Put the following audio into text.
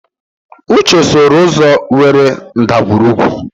Uche sooro ụzọ nwere ndagwurugwu.